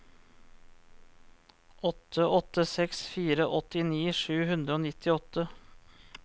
åtte åtte seks fire åttini sju hundre og nittiåtte